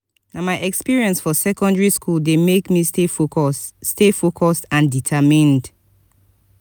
na my experience for secondary school dey make me stay focused stay focused and determined.